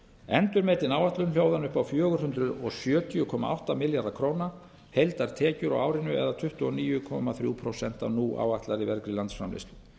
endurmetin áætlun hljóðar upp á fjögur hundruð sjötíu komma átta milljarða króna heildartekjur á árinu það er tuttugu og níu komma þrjú prósent af nú áætlaðri vergri landsframleiðslu